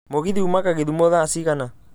mũgithi ũmaga githumo thaa cigana